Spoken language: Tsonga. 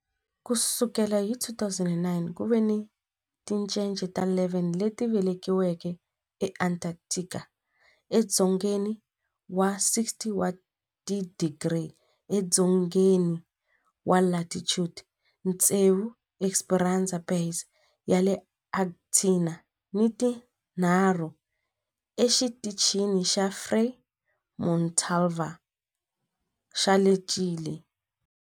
Ku sukela hi 2009, ku ve ni tincece ta 11 leti velekiweke eAntarctica, edzongeni wa 60 wa tidigri edzongeni wa latitude, tsevu eEsperanza Base ya le Argentina ni tinharhu eXitichini xa Frei Montalva xa le Chile.